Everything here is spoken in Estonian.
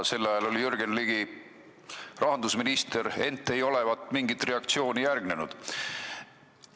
Sel ajal oli Jürgen Ligi rahandusminister, ei olevat mingit reaktsiooni järgnenud.